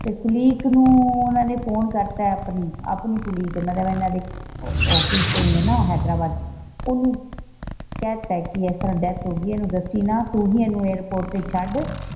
ਤੇ ਕੁਲੀਕ ਨੂੰ ਓਹਨਾ ਨੇ ਫੋਨ ਕਰਤਾ ਆਪਣੀ ਕੁਲੀਕ ਮਤਲਬ ਇਹਨਾਂ ਦੀ ਆਫਿਸ ਹੈਗੀ ਆ ਨਾ ਹੈਦਰਾਬਾਦ ਓਹਨੂੰ ਕਹਿਤਾ ਕਿ ਇਸ ਤਰਾਂ ਡੈਥ ਹੋਗਈ ਇਹਨੂੰ ਦੱਸੀ ਨਾ ਤੂੰ ਹੀ ਇਹਨੂੰ ਏਅਰਪੋਰਟ ਤੇ ਛੱਡ।